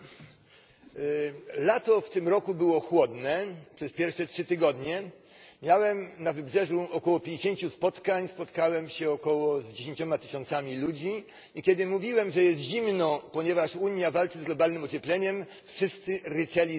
Panie Przewodniczący! Lato w tym roku było chłodne przez pierwsze trzy tygodnie. Miałem na wybrzeżu około pięćdziesięciu spotkań. Spotkałem się z około dziesięcioma tysiącami ludzi, i kiedy mówiłem, że jest zimno, ponieważ Unia walczy z globalnym ociepleniem, wszyscy ryczeli ze śmiechu.